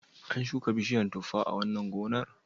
An shuka bishiyar tuffa a wannan gonar?